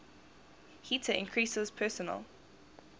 heater increases personal